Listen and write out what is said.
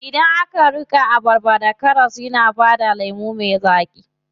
Idan aka niƙa abarba da karas yana bada lemu me daɗi.